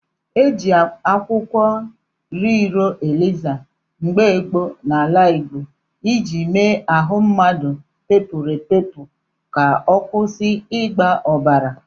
E jị akwụkwọ Iriro Eliza mgbe gboo n'ala Igbọ iji mee ahụ mmadụ bepuru ebepu ka ọ kwusị ịgba obara.